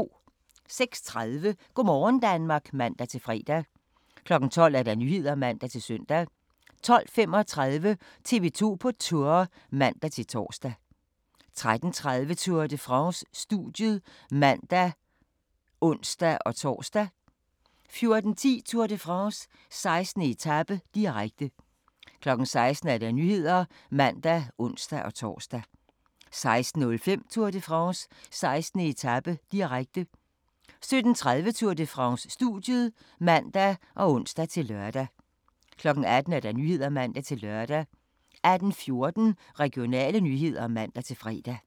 06:30: Go' morgen Danmark (man-fre) 12:00: Nyhederne (man-søn) 12:35: TV 2 på Tour (man-tor) 13:30: Tour de France: Studiet (man og ons-tor) 14:10: Tour de France: 16. etape, direkte 16:00: Nyhederne (man og ons-tor) 16:05: Tour de France: 16. etape, direkte 17:30: Tour de France: Studiet (man og ons-lør) 18:00: Nyhederne (man-lør) 18:14: Regionale nyheder (man-fre)